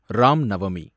Ram Navami